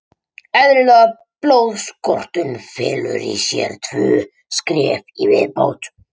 Eðlileg blóðstorknun felur í sér tvö skref í viðbót.